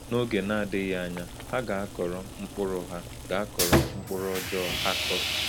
N’oge na-adịghị anya, ha ga-akọrọ mkpụrụ ha ga-akọrọ mkpụrụ ọjọọ ha kụrụ.